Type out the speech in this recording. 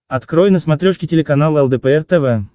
открой на смотрешке телеканал лдпр тв